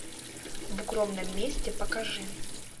в укромном месте покажи